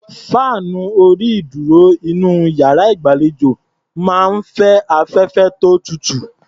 Fáànù orí-ìdúrò inú iyàrá ìgbàlejò máa ń fẹ́ afẹ́fẹ́ tó tutù.